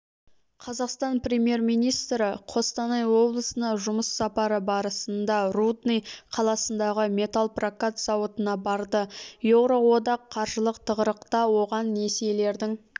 қазақстан премьер-министрі қостанай облысына жұмыс сапары барысында рудный қаласындағы металлпрокат зауытына барды еуроодақ қаржылық тығырықта оған несиелердің